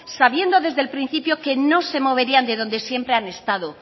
sabiendo desde el principio que no se moverían de donde siempre han estado